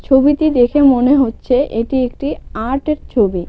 ছবিটি দেখে মনে হচ্ছে এটি একটি আর্টের ছবি.